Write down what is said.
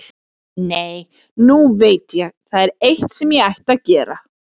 Nei, nú veit ég, það er eitt sem ég ætti að gera.